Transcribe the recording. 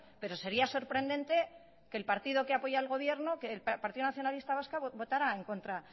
pero sería sorprendente que el partido que apoya al gobierno el partido nacionalista vasco votara en contra